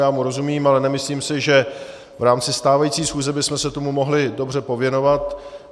Já mu rozumím, ale nemyslím si, že v rámci stávající schůze bychom se tomu mohli dobře pověnovat.